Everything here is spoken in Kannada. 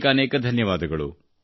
ಅನೇಕಾನೇಕ ಧನ್ಯವಾದ